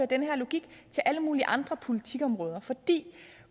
den her logik til alle mulige andre politikområder vi